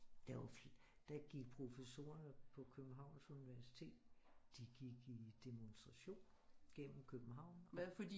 Der jo der gik professorerne på Københavns universitet de gik i de gik i demonstration gennem København